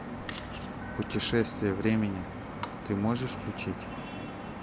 путешествия времени ты можешь включить